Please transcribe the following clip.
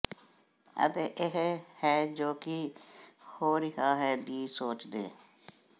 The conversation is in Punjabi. ਅਤੇ ਇਹ ਹੈ ਜੋ ਕੀ ਹੋ ਰਿਹਾ ਹੈ ਦੀ ਸੋਚਦੇ